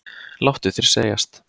Láttu þér segjast!